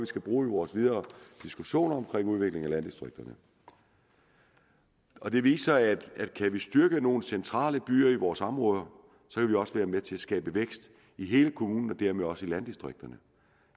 skal bruge i vores videre diskussioner om udviklingen af landdistrikterne og det viser at kan vi styrke nogle centrale byer i vores områder kan vi også være med til at skabe vækst i hele kommunen og dermed også i landdistrikterne